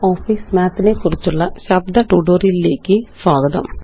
LibreOfficeMathനെക്കുറിച്ചുള്ള ശബ്ദ ട്യൂട്ടോറിയലിലേയ്ക്ക് സ്വാഗതം